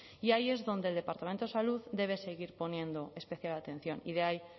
y ahí es donde el departamento de salud debe seguir poniendo especial atención y de ahí